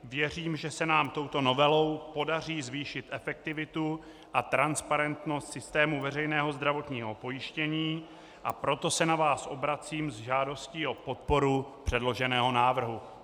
Věřím, že se nám touto novelou podaří zvýšit efektivitu a transparentnost systému veřejného zdravotního pojištění, a proto se na vás obracím s žádostí o podporu předloženého návrhu.